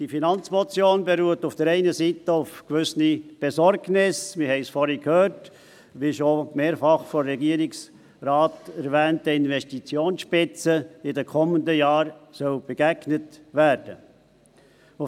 Diese Finanzmotion beruht auf der einen Seite auf einer gewissen Besorgnis darüber – wir haben es vorhin gehört –, wie der Investitionsspitze, wie schon mehrfach vom Regierungsrat erwähnt, in den kommenden Jahren begegnet werden soll.